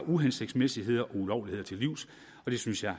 uhensigtsmæssigheder og ulovligheder til livs og det synes jeg